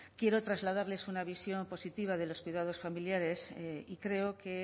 quiero trasladarles una visión positiva de los cuidados familiares y creo que